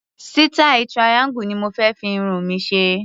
Sítáì triangle ni mo fé fi irun mi ṣe.